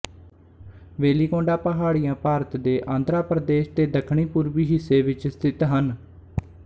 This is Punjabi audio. ਵੇਲੀਕੋਂਡਾ ਪਹਾੜੀਆਂ ਭਾਰਤ ਦੇ ਆਂਧਰਾ ਪ੍ਰਦੇਸ਼ ਦੇ ਦੱਖਣਪੂਰਬੀ ਹਿੱਸੇ ਵਿੱਚ ਸਥਿਤ ਹਨ